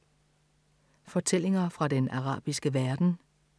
Fortællinger fra den arabiske verden